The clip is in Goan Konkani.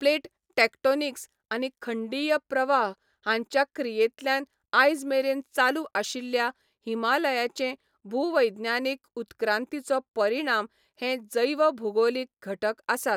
प्लेट टॅक्टोनिक्स आनी खंडीय प्रवाह हांच्या क्रियेंतल्यान आयजमेरेन चालू आशिल्ल्या हिमालयाचे भूवैज्ञानिक उत्क्रांतीचो परिणाम हे जैवभूगोलीक घटक आसात.